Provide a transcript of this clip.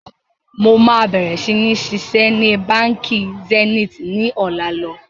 Mo máa bẹ̀rẹ̀ si ni ṣiṣẹ́ ni Báńkì Zenith ni ọ̀la lọ.